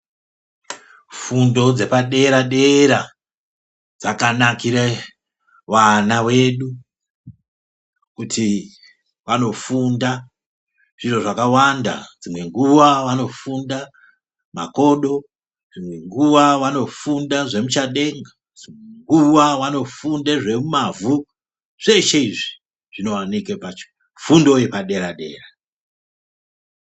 Fundo dzepadera-dera dzakanakire vana vedu kuti vanofunda zviro zvakawanda ,dzimwe nguwa vanofunda makodo, dzimwe nguwa vanofunda zvemuchadenga, dzimwe nguwa vanofunda zvemumavhu zveshe izvi zvinooneke pafundo yepadera-dera.